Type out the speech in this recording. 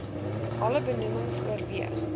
alle benoemings oorweeg